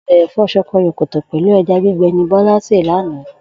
O̩bè̩ è̩fó̩ s̩o̩ko̩yò̩kò̩tò̩ pè̩lú e̩ja gbigbe̩ ni Bó̩lá sè lánàá